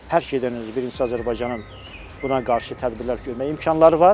Hər şeydən öncə birincisi Azərbaycanın buna qarşı tədbirlər görmək imkanları var.